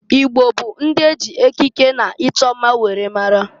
Igbo bụ ndị e ji ekiki na-ịchọ mma were mara.